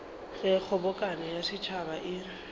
ge kgobokano ya setšhaba e